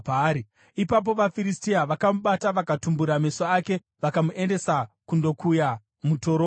Ipapo vaFiristia vakamubata vakatumbura meso ake vakamuendesa kundokuya mutorongo.